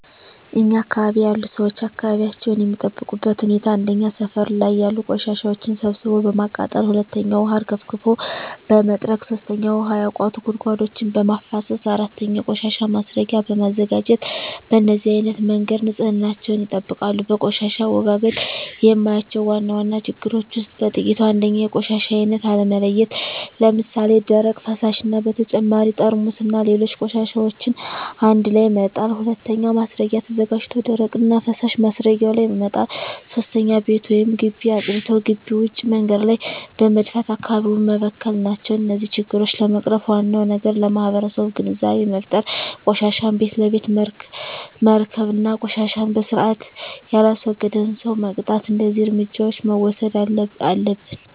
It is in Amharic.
እኛ አካባቢ ያሉ ሠዎች አካባቢያቸውን የሚጠብቁበት ሁኔታ 1. ሠፈር ላይ ያሉ ቆሻሻዎችን ሠብስቦ በማቃጠል 2. ውሀ አርከፍክፎ በመጥረግ 3. ውሀ ያቋቱ ጉድጓዶችን በማፋሠስ 4. የቆሻሻ ማስረጊያ በማዘጋጀት በነዚህ አይነት መንገድ ንፅህናቸውን ይጠብቃሉ። በቆሻሻ አወጋገድ የማያቸው ዋና ዋና ችግሮች ውስጥ በጥቂቱ 1. የቆሻሻ አይነት አለመለየት ለምሣሌ፦ ደረቅ፣ ፈሣሽ እና በተጨማሪ ጠርሙስና ሌሎች ቆሻሻዎችን አንድላይ መጣል። 2. ማስረጊያ ተዘጋጅቶ ደረቅና ፈሣሽ ማስረጊያው ላይ መጣል። 3. ቤት ወይም ግቢ አፅድቶ ግቢ ውጭ መንገድ ላይ በመድፋት አካባቢውን መበከል ናቸው። እነዚህን ችግሮች ለመቅረፍ ዋናው ነገር ለማህበረሠቡ ግንዛቤ መፍጠር፤ ቆሻሻን ቤት ለቤት መረከብ እና ቆሻሻን በስርአት የላስወገደን ሠው መቅጣት። እደዚህ እርምጃዎች መውሠድ አለብን።